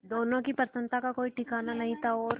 दोनों की प्रसन्नता का कोई ठिकाना नहीं था और